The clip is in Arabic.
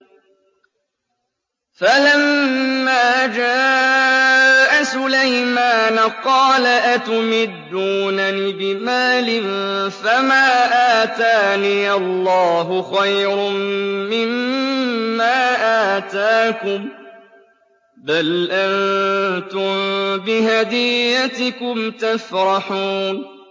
فَلَمَّا جَاءَ سُلَيْمَانَ قَالَ أَتُمِدُّونَنِ بِمَالٍ فَمَا آتَانِيَ اللَّهُ خَيْرٌ مِّمَّا آتَاكُم بَلْ أَنتُم بِهَدِيَّتِكُمْ تَفْرَحُونَ